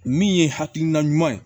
Min ye hakilina ɲuman ye